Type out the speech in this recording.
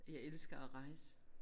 Jeg elsker at rejse